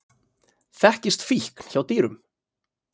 Þekkist fíkn hjá dýrum?